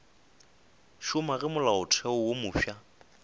šoma ge molaotheo wo mofsa